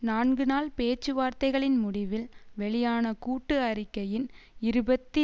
நான்கு நாள் பேச்சுவார்த்தைகளின் முடிவில் வெளியான கூட்டு அறிக்கையின் இருபத்தி